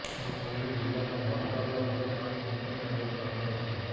અમરેલી જિલ્લાના જાફરાબાદ અને ચાંચ બંદરને એલર્ટ રાખાયા છે